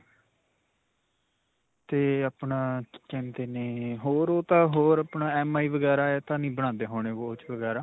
'ਤੇ ਆਪਣਾ ਕੀ ਕਹਿੰਦੇ ਨੇ ਹੋਰ ਤਾਂ ਹੋਰ ਆਪਣਾ MI ਵਗੈਰਾ ਇਹ ਤਾਂ ਨਹੀਂ ਬਣਾਉਂਦੇ ਹੋਣੇ watch ਵਗੈਰਾ?